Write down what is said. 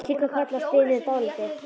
Hún kinkar kolli og stynur dálítið.